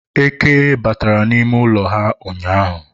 eke batara n'ime ụlọ ha ụnyaahụ